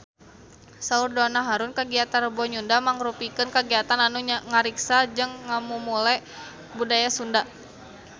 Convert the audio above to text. Saur Donna Harun kagiatan Rebo Nyunda mangrupikeun kagiatan anu ngariksa jeung ngamumule budaya Sunda